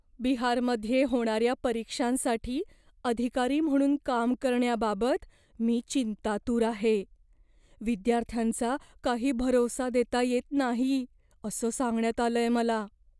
बिहारमध्ये होणाऱ्या परीक्षांसाठी अधिकारी म्हणून काम करण्याबाबत मी चिंतातूर आहे. विद्यार्थ्यांचा काही भरवसा देता येत नाही असं सांगण्यात आलंय मला.